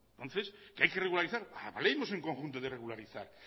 entonces que hay que regularizar hablemos en conjunto de regularizar